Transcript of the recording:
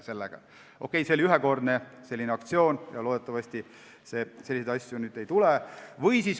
See oli ühekordne aktsioon ja loodetavasti selliseid asju enam ei tule.